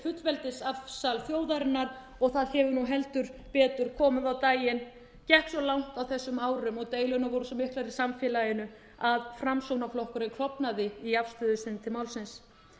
fullveldisafsal þjóðarinnar og það hefur nú heldur betur komið á daginn gekk svo langt á þessum árum og deilurnar voru svo miklar í samfélaginu að framsóknarflokkurinn klofnaði í afstöðu sinni til málsins